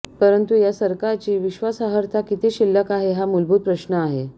परंतु या सरकारची विश्वासार्हता किती शिल्लक आहे हा मूलभूत प्रश्न आहे